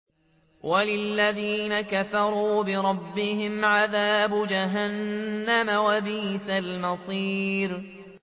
وَلِلَّذِينَ كَفَرُوا بِرَبِّهِمْ عَذَابُ جَهَنَّمَ ۖ وَبِئْسَ الْمَصِيرُ